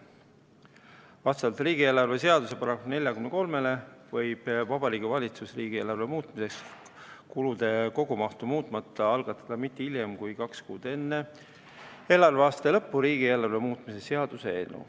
Vastavalt riigieelarve seaduse §-le 43 võib Vabariigi Valitsus riigieelarve muutmiseks kulude kogumahtu muutmata algatada mitte hiljem kui kaks kuud enne eelarveaasta lõppu riigieelarve muutmise seaduse eelnõu.